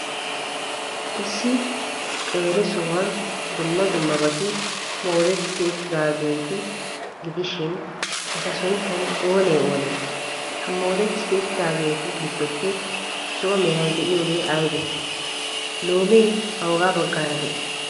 Issi qeeri sohuwan dumma dummabati moodetti uttidaageeta gidishin, eta sunttay oonee oonee? Ha moodetti uttidaageetu giddoppe zo'o meray de'iyoogee aybee? Loomee awuga baggaara de'ii?